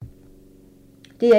DR1